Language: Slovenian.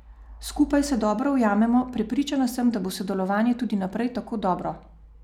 Skupaj se dobro ujamemo, prepričan sem, da bo sodelovanje tudi naprej tako dobro.